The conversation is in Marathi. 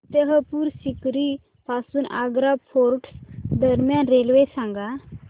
फतेहपुर सीकरी पासून आग्रा फोर्ट दरम्यान रेल्वे सांगा